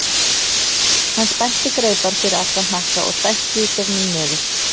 Hann spennti greipar fyrir aftan hnakka og dæsti í gegnum nefið.